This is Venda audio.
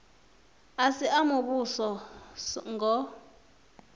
a si a muvhuso ngos